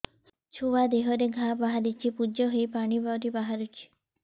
ଛୁଆ ଦେହରେ ଘା ବାହାରିଛି ପୁଜ ହେଇ ପାଣି ପରି ବାହାରୁଚି